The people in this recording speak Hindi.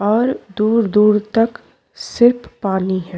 और दूर-दूर तक सिर्फ पानी है।